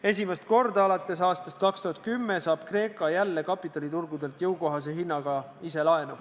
Esimest korda alates aastast 2010 saab Kreeka jälle kapitaliturgudelt jõukohase hinnaga ise laenu.